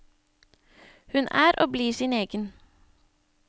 Hun er og blir sin egen.